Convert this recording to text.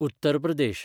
Uttar Pradesh